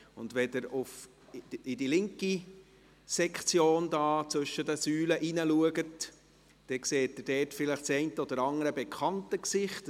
Wenn Sie in den linken Sektor zwischen den Säulen hineinschauen, sehen Sie dort vielleicht das eine oder andere bekannte Gesicht.